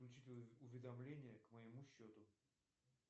включить уведомления к моему счету